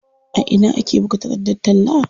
A ina ake buga takardar talla?